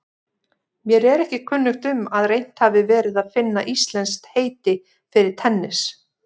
Mér er ekki kunnugt um að reynt hafi verið að finna íslenskt heiti fyrir tennis.